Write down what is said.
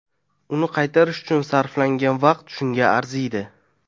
Uni qaytarish uchun sarflangan vaqt shunga arzimaydi.